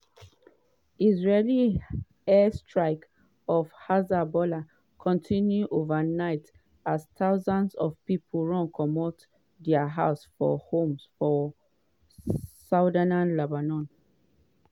israeli air strikes on hezbollah continue overnight as thousands of pipo run comot dia homes for homes for southern lebanon.